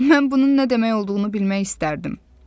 Mən bunun nə demək olduğunu bilmək istərdim.